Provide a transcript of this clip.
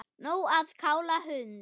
Nóg að kála hund